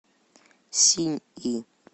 синьи